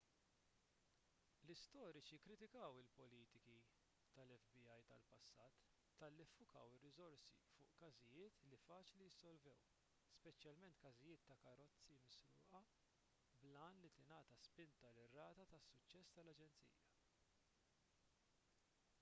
l-istoriċi kkritikaw il-politiki tal-fbi tal-passat talli ffukaw ir-riżorsi fuq każijiet li faċli jissolvew speċjalment każijiet ta' karozzi misruqa bil-għan li tingħata spinta lir-rata ta' suċċess tal-aġenzija